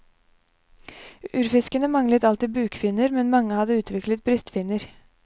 Urfiskene manglet alltid bukfinner, men mange hadde utviklet brystfinner.